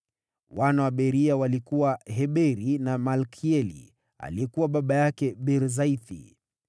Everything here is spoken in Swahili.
Wana wa Beria walikuwa: Heberi na Malkieli, aliyekuwa baba yake Birzaithi.